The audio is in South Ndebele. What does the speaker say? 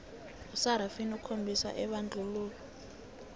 isarafina okhombisa ibandlululo